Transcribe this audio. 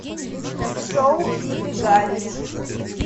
шоу иды галич